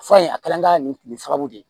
Fura in a kɛla an ka nin kile saba de ye